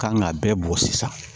Kan ka bɛɛ bɔ sisan